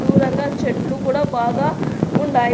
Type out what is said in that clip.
దూరంగా చెట్లు కూడా బాగా ఉన్నాయి.